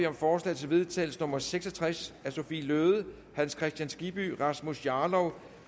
om forslag til vedtagelse nummer v seks og tres af sophie løhde hans kristian skibby rasmus jarlov